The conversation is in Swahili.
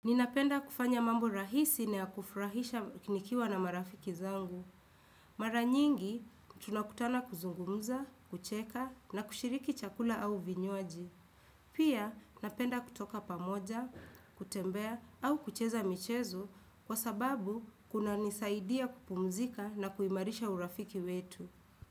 Ninapenda kufanya mambo rahisi na ya kufurahisha nikiwa na marafiki zangu. Mara nyingi, tunakutana kuzungumza, kucheka na kushiriki chakula au vinywaji. Pia, napenda kutoka pamoja, kutembea au kucheza michezo kwa sababu kuna nisaidia kupumzika na kuimarisha urafiki wetu.